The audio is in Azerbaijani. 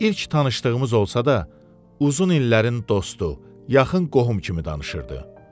İlk tanışdığımız olsa da, uzun illərin dostu, yaxın qohum kimi danışırdı.